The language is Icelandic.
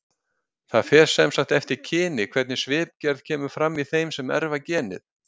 Það fer sem sagt eftir kyni hvernig svipgerð kemur fram í þeim sem erfa genið.